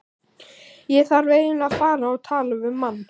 Ég þarf eiginlega að fara og tala við mann.